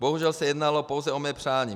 Bohužel se jednalo pouze o mé přání.